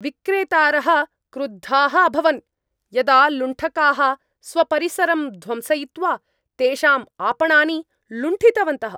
विक्रेतारः क्रुद्धाः अभवन् यदा लुण्ठकाः स्वपरिसरं ध्वंसयित्वा तेषाम् आपणानि लुण्ठितवन्तः।